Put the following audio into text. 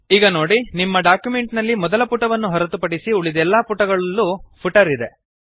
ಈಗ ನೊಡಿ ನಿಮ್ಮ ಡಾಕ್ಯುಮೆಂಟ್ ನಲ್ಲಿ ಮೊದಲ ಪುಟವನ್ನು ಹೊರತುಪಡಿಸಿ ಉಳಿದೆಲ್ಲಾ ಪುಟಗಳಲ್ಲೂ ಫುಟರ್ ಇದೆ